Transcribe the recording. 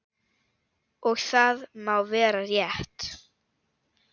Og það má vera rétt.